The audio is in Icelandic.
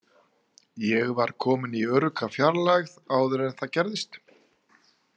Ég var kominn í örugga fjarlægð áður en það gerðist.